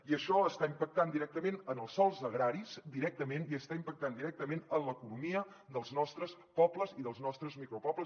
i això està impactant directament en els sòls agraris directament i està impactant directament en l’economia dels nostres pobles i dels nostres micropobles